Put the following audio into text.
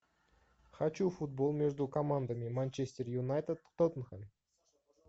хочу футбол между командами манчестер юнайтед тоттенхэм